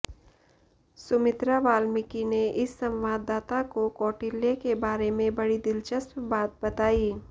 सुमित्रा वाल्मीकि ने इस संवाददाता को कौटिल्य के बारे में बड़ी दिलचस्प बात बताई